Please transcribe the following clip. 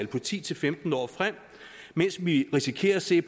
på ti til femten år frem mens vi risikerer at se